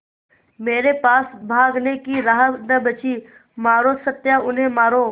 मेरे पास भागने की राह न बची मारो सत्या उन्हें मारो